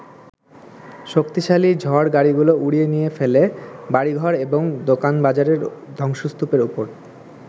শক্তিশালী ঝড় গাড়িগুলো উড়িয়ে নিয়ে ফেলে বাড়িঘর এবং দোকানবাজারের ধ্বংসস্তূপের ওপর।